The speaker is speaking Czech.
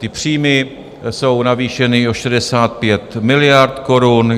Ty příjmy jsou navýšeny o 65 miliard korun.